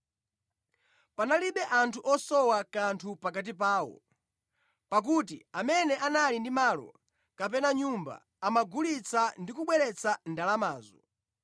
Panalibe anthu osowa kanthu pakati pawo. Pakuti amene anali ndi malo, kapena nyumba amagulitsa ndi kubweretsa ndalamazo